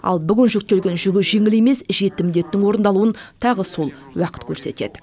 ал бүгін жүктелген жүгі жеңіл емес жеті міндеттің орындалуын тағы сол уақыт көрсетеді